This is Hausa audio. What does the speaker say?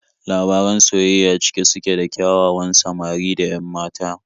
Labaran soyayya cike suke da ƙyawawan samari da 'yan mata.